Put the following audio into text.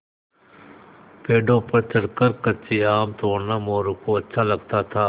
पेड़ों पर चढ़कर कच्चे आम तोड़ना मोरू को अच्छा लगता था